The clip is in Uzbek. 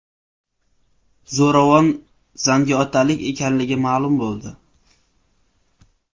Zo‘ravon zangiotalik ekanligi ma’lum bo‘ldi.